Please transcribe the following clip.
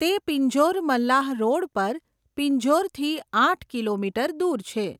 તે પિંજોર મલ્લાહ રોડ પર પિંજોરથી આઠ કિલોમીટર દૂર છે.